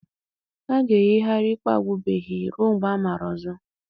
A ga-eyigharị ikpe agwụbeghị ruo mgbe amara ọzọ.